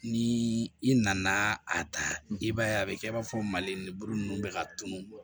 Ni i nana a ta i b'a ye a be kɛ i b'a fɔ mali lebu nunnu bɛ ka tunu